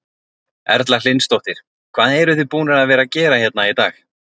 Erla Hlynsdóttir: Hvað eruð þið búnar að vera að gera hérna í dag?